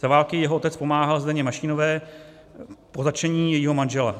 Za války jeho otec pomáhal Zdeně Mašínové po zatčení jejího manžela.